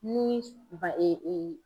Ni